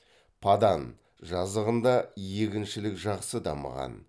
падан жазығында егіншілік жақсы дамыған